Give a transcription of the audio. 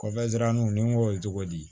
Kɔfɛ daraniw ni n ko ye cogo di